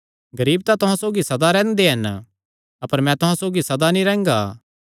गरीब तां तुहां सौगी सदा रैंह्दे हन अपर मैं तुहां सौगी सदा नीं रैंह्गा